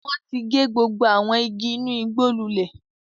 Wọn ti gé gbogbo àwọn igi inú igbó lulẹ̀.